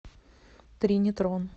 тринитрон